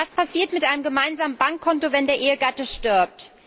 Was passiert mit einem gemeinsamen Bankkonto, wenn der Ehegatte stirbt?